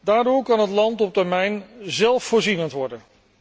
Daardoor kan het land op termijn zelfvoorzienend worden.